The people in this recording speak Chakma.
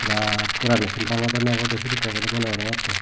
birat gorano sin bangodonne obode sedekke obode mone gorongtte.